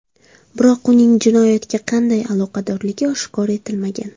Biroq uning jinoyatga qanday aloqadorligi oshkor etilmagan.